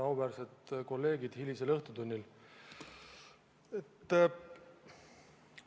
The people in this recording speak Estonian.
Auväärsed kolleegid hilisel õhtutunnil!